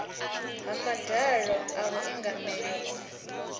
ha madalo a vhuingameli ho